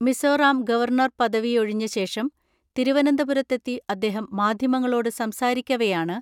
Mizoram governor പദവി ഒഴിഞ്ഞ ശേഷം തിരുവനന്തപുരത്തെത്തി അദ്ദേഹം മാധ്യമങ്ങളോട് സംസാരിക്കവെയാണ്